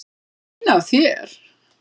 Fín af þér.